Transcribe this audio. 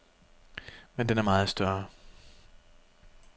Men den er meget større.